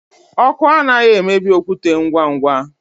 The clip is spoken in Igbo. Ọkụ anaghị emebi okwute ngwa ngwa.